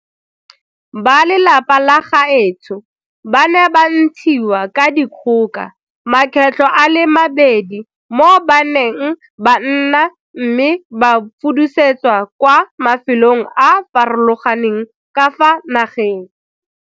Ba lelapa la gaetsho ba ne ba ntshiwa ka dikgoka makgetlho a le mabedi mo ba neng ba nna me ba fudusetswa kwa mafelong a a farologaneng ka fa nageng.